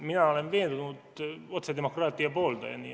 Mina olen veendunud otsedemokraatia pooldaja.